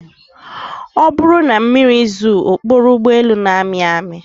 Ọ bụrụ na mmiri zoo, okporo ụgbọelu na-amị amị